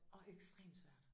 Og ekstremt svært